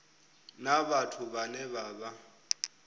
na vhathu vhane vha vha